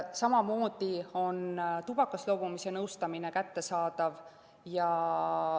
Samamoodi on tubakast loobumise nõustamine kättesaadav.